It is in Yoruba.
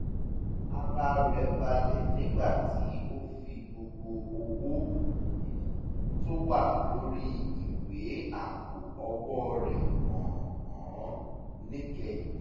ara rẹ̀ balẹ̀ nígbà tí ó fi gbogbo owó um tó wà lórí ìwé àpò owó rẹ̀ hàn án níkẹyìn